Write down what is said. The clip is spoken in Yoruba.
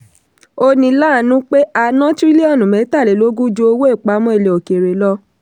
ó ní láàánú pé a ná tírílíọ̀nù mẹ́tàlélógún ju owó ìpamọ́ ilẹ̀ òkèèrè lọ.